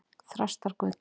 Þrastargötu